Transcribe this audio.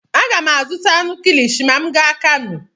Aga m azụta anụ kilishi ma m gaa Kanu.